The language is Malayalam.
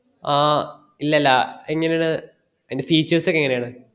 ആ ഇല്ല അല്ല ഇങ്ങനെ ആണ് അയ്ൻടെ featues ഒക്കെ എങ്ങനെ ആണ്